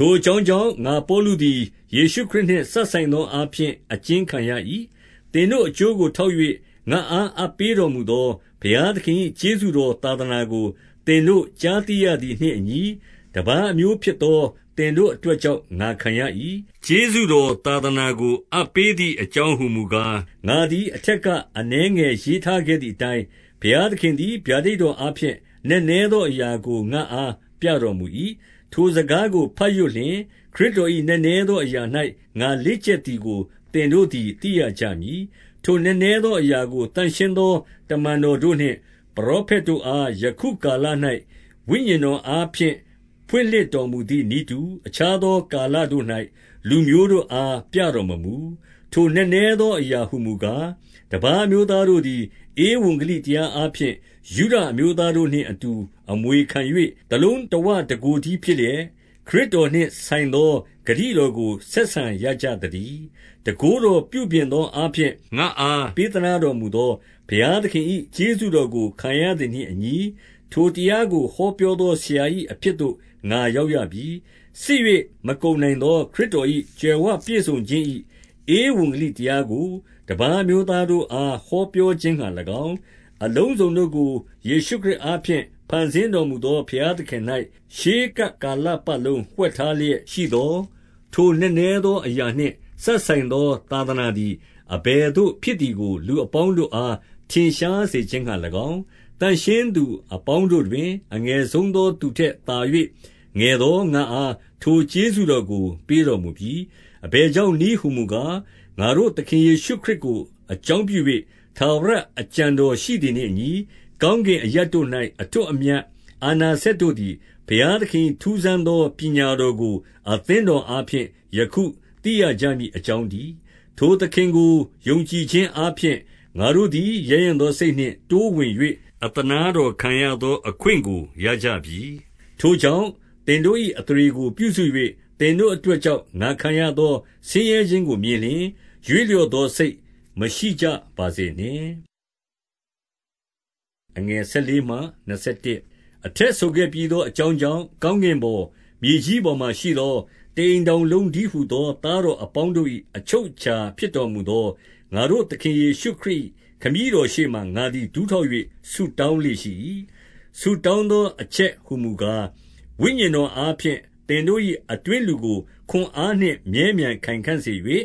ထိုအကြောင်းကြောင့် ငါပေါလုသည် ယေရှုခရစ်နှင့်စပ်ဆိုင်သောအားဖြင့် အကျဉ်းခံရ၏။ သင်တို့အကျိုးကို ထောက်၍ ငါ့အားအပ်ပေးတော်မူသော ဘုရားသခင်၏ကျေးဇူးတော်သာသနာကို သင်တို့ကြားသိရသည်နှင့်အညီ၊ တပါးအမျိုးဖြစ်သော သင်တို့အတွက်ကြောင့် ငါခံရ၏။ ကျေးဇူးတော်သာသနာကို အပ်ပေးသည် အကြောင်းဟူမူကား၊ ငါသည်အထက်က အနည်းငယ် ရေးထားခဲ့သည်အတိုင်း၊ ဘုရားသခင်သည် ဗျာဒိဏ်တော်အားဖြင့် နက်နဲသောအရာကို ငါ့အားပြတော်မူ၏။ ထိုစကားကိုဘတ်ရွတ်လျှင်၊ ခရစ်တော်၏ နက်နဲသောအရာ၌ ငါလေ့ကျက်သည်ကို သင်တို့သည် သိရ ကြမည်။ ထိုနက်နဲသောအရာကို သန့်ရှင်းသော တမန်တော်တို့နှင့် ပရောဖက်တို့အား၊ ယခုကာလ၌ ဝိညာဉ် တော်အားဖြင့် ဖွင့်လှစ်တော်မူသည်နည်းတူ၊ အခြားသော ကာလတို့၌ လူမျိုးတို့အား ပြတော်မမူ။ ထိုနက်နဲသောအရာဟူကား၊ တပါးအမျိုးသားတို့သည် ဧဝံဂလိတရားအားဖြင့် ယုဒလူမျိုးတို့နှင့်အတူ အမွေခံ၍၊ တလုံးတဝတကိုယ်တည်းဖြစ်လျက်၊ ခရစ်တော်နှင့်ဆိုင်သောဂတိတော်ကို ဆက်ဆံကြရသတည်း။ တန်ခိုးတော်ပြုပြင်သောအားဖြင့် ငါ့အားပေးသနားတော်မူသော ဘုရားသခင်၏ ကျေးဇူးတော်ကို ခံရသည်နှင့်အညီ၊ ထိုတရားကို ဟောပြောသောဆရာ၏ အဖြစ်သို့ ငါရောက်ရပြီ။ စစ်၍မကုန်နိုင်သော ခရစ်တော်၏ ကြွယ်ဝပြည့်စုံခြင်း၏ ဧဝံဂေလိတရားကို တပါးအမျိုးသားတို့အား ဟောပြောခြင်းငှါ၎င်း၊ အလုံးစုံတို့ကို ယေရှုခရစ်အားဖြင့် ဖန်ဆင်းတော်မူသော ဘုရားသခင်၌ ရှေးကပ် ကာလပတ်လုံး ဝှက်ထားလျက်ရှိသော ထိုနက်နဲသောအရာနှင့် စပ်ဆိုင်သော သာသနာသည် အဘယ်သို့ ဖြစ်သည်ကို လူအပေါင်းတို့အား ထင်ရှားစေခြင်းငှါ၎င်း၊ သန့်ရှင်းသူအပေါင်းတို့တွင် အငယ်ဆုံးသော သူထက်သာ၍ ငယ်သော ငါအား ထိုကျေးဇူးတော်ကို ပေးတော်မူပြီ။ အဘယ်ကြောင့်နည်းဟူမူကား၊ ငါတို့သခင်ယေရှုခရစ်ကို အကြောင်းပြု၍ ထာဝရအကြံတော် ရှိသည်နှင့်အညီ၊ ကောင်းကင်အရပ်တို့၌ အထွဋ်အမြတ် အာဏာစက်တို့သည်၊ ဘုရားသခင်၏ထူးဆန်းသော ပညတ်တော်ကို အသင်းတော်အားဖြင့် ယခုသိကြရမည် အကြောင်းတည်း။ ထိုသခင်ကိုယုံကြည်ခြင်းအားဖြင့် ငါတို့သည် ရဲရင့်သောစိတ်နှင့်တိုးဝင်၍ အသနားတော်ခံရသော အခွင့်ကိုရကြပြီ။ ထိုကြောင့် သင်တို့၏အသရေကို ပြုစု၍ သင်တို့အတွက်ကြောင့် ငါခံရသော ဆင်းရဲခြင်းကို မြင်လျှင်၊ ရွေ့လျော့သော စိတ်မရှိကြပါစေနှင့်။ အထက်ဆိုခဲ့ပြီးသော အကြောင်းကြောင့်၊ ကောင်းကင်ပေါ်၊ မြေကြီးပေါ်မှာရှိသော တအိမ်ထောင်လုံး တည်းဟူသော သားတော်အပေါင်းတို့၏ အချုပ်အခြာဖြစ်တော်မူသော၊ ငါတို့ သခင်ယေရှုခရစ်၏ ခမည်းတော်ရှေ့မှာ ငါသည် ဒူးထောက်၍ ဆုတောင်းလေ့ရှိ၏။ ဆုတောင်းသောအချက်ဟူမူကား၊ ဝိညာဉ်တော်အားဖြင့် သင်တို့၏အတွင်းလူကို ခွန်အားနှင့် မြဲမြံ ခိုင်ခံ့စေ၍၊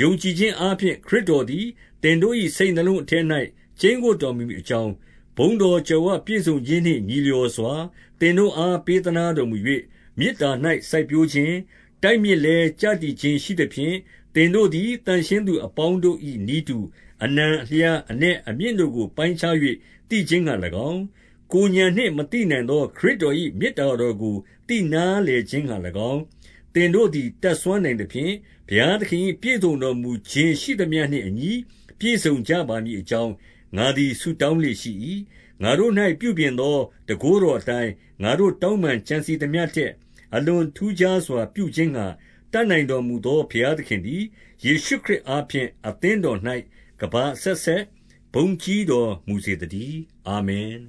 ယုံကြည်ခြင်းအားဖြင့် ခရစ်တော်သည် သင်တို့၏ စိတ်နှလုံးအထဲ၌ ကျိန်းဝပ်တော်မူမည်အကြောင်း၊ ဘုန်းတော်ကြွယ်ဝပြည်စုံခြင်းနှင့် ညီလျော်စွာ သင်တို့အား ပေးတော်မူ၍၊ မေတ္တာ၌ စိုက်ပျိုးခြင်း၊ တိုက်မြစ်လည်းကျတည်ခြင်းရှိသဖြင့်၊ သင်တို့သည်သန့်ရှင်းသူအပေါင်းတို့၏ နည်းတူ၊ အနံအလျား အနက်အမြင့်တို့ကို ပိုင်းခြား၍ သိခြင်းငှါ၎င်း၊ ကိုယ်ဥာဏ်နှင့်မသိနိုင်သော ခရစ်တော်၏ မေတ္တာတော်ကို သိနားလည်ခြင်းငှါ၎င်း၊ သင်တို့သည် တတ်စွမ်းနိုင်သဖြင့် ဘုရားသခင်၏ ပြည်စုံတော်မူခြင်းရှိသမျှနှင့်အညီ ပြည့်စုံကြပါမည်အကြောင်း၊ ငါသည် ဆုတောင်းလေ့ရှိ၏။ ငါတို့၌ ပြုပြင်သောတန်ခိုးတော်အတိုင်း၊ ငါတို့ တောင်းပန်ကြံစည်သမျှထက် အလွန်ထူးခြားစွာ ပြုခြင်း ငှါ တတ်နိုင်တော်မူသော ဘုရားသခင်သည်၊ ယေရှုခရစ်အားဖြင့် အသင်းတော်၌ ကမ္ဘာအဆက်ဆက်ဘုန်းကြီးတော်မူစေသတည်း။ အာမင်